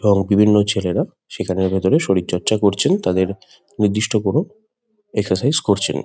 এবং বিভিন্ন ছেলেরা সেখানের ভিতরে শরীরচর্চা করছেন। তাদের নির্দিষ্ট কোনো এক্সসারসাইস করছেন ।